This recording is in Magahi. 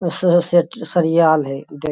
अं सेट सरियाल है दे --